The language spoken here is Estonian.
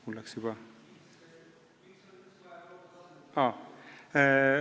Mul läks juba meelest ära.